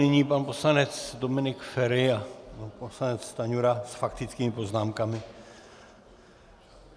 Nyní pan poslanec Dominik Feri a pan poslanec Stanjura s faktickými poznámkami.